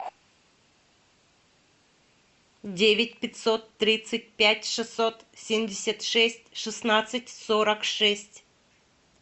девять пятьсот тридцать пять шестьсот семьдесят шесть шестнадцать сорок шесть